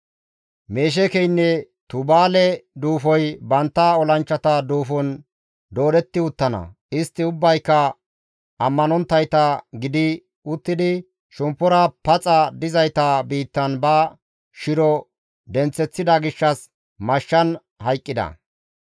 «Mesheekeynne Tubaale duufoy bantta olanchchata duufon doodetti uttana; istti ubbayka ammanonttayta gidi uttidi shemppora paxa dizayta biittan ba shiro denththeththida gishshas mashshan hayqqida.